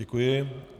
Děkuji.